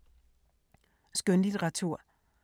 Skønlitteratur